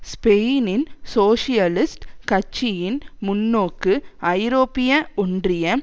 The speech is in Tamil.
ஸ்பெயினின் சோசியலிஸ்ட் கட்சியின் முன்னோக்கு ஐரோப்பிய ஒன்றிய